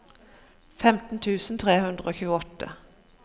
femten tusen tre hundre og tjueåtte